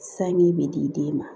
Sanji bɛ di den ma